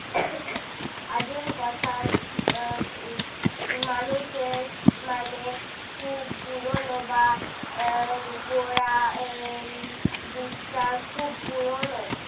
আদিম কথা আহ মানুষের মানে খুব পুরোনো বা এর গোড়া এর দিকটা খুব পুরোনো।